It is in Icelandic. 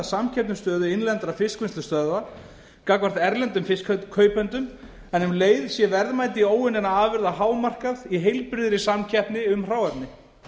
samkeppnisstöðu innlendra fiskvinnslustöðva gagnvart erlendum fiskkaupendum en um leið sé verðmæti óunninna afurða hámarkað í heilbrigðri samkeppni um hráefni